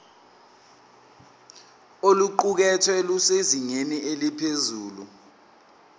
oluqukethwe lusezingeni eliphezulu